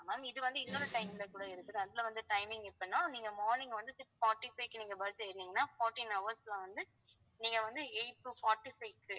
ma'am இது வந்து இன்னொரு time ல கூட இருக்குது அதுல வந்து timing எப்பனா நீங்க morning வந்து six forty-five க்கு நீங்க bus ஏறுனீங்கன்னா fourteen hours ல வந்து நீங்க வந்து eight to forty five க்கு